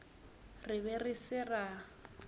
re be re se ra